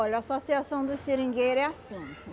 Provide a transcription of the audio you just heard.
Olha, a associação dos seringueiro é assim.